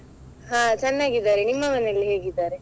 ಹಾ ಚನ್ನಾಗಿದ್ದಾರೆ, ನಿಮ್ಮ ಮನೆಯಲ್ಲಿ ಹೇಗಿದ್ದಾರೆ?